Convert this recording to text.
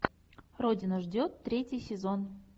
родина ждет третий сезон